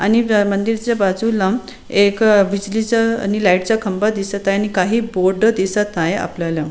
आणि मंदिर च बाजूला एक बिजली च आणि लाइट च खंबा दिसत आहे आणि काही बोर्ड दिसत आहे आपल्याला.